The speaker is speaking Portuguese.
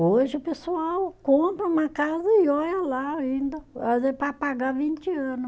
Hoje o pessoal compra uma casa e olha lá ainda, para pagar vinte ano.